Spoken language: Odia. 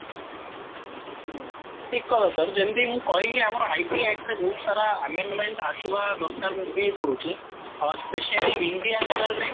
ହୁଁ ଠିକ କଥା ସାର ଯେମିତି ମୁଁ କହିଲି ଆମର IT act ରେ ବହୁତ ସାରା amendment ଆସିବା ଦରକାର ମୁଁ feel କରୁଛି especially ଇଣ୍ଡିଆନ ରେ